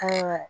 Ayiwa